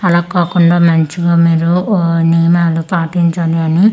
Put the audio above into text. అలా కాకుండా మంచిగా మీరు ఓ నియమాలు పాటించండి అని.